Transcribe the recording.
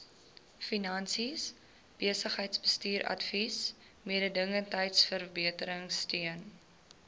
finansies besigheidsbestuursadvies mededingendheidsverbeteringsteun